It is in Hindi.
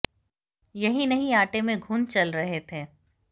यही नहीं आटे में घुन चल रहे थे